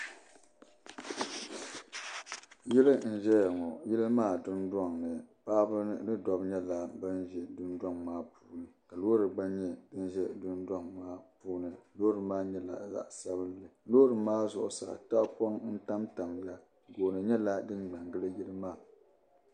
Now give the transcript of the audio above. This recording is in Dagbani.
Yili n-zaya ŋɔ. Yili maa dundɔŋ ni paɣiba ni dɔbba nyɛla bam be dundɔŋ maa puuni ka loori gba nyɛ din za dundɔŋ maa puuni. Loori maa nyɛla zaɣ' sabilinli. Loori maa zuɣusaa tahapɔna n-tamtamya. Gooni nyɛla dim me n-gili yili maa.